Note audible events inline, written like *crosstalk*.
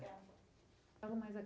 Gravando fala mais *unintelligible*